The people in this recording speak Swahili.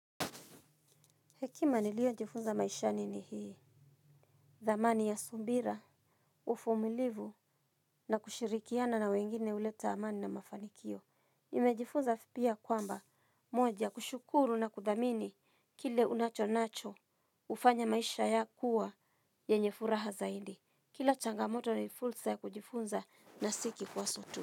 Hekima niliyo jifunza maishani ni hii, dhamani ya subira, uvumilivu na kushirikiana na wengine huleta amani na mafanikio. Nimejifunza pia kwamba, moja kushukuru na kudhamini kile ulicho nacho hufanya maisha ya kuwa yenye furaha zaidi. Kila changamoto ni fursa ya kujifunza na si kikwazo tu.